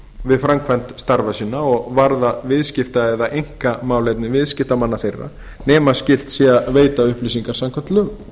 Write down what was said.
við framkvæmd starfa sinna og varða viðskipta eða einkamálefni viðskiptamanna þeirra nema skylt sé að veita upplýsingar samkvæmt lögum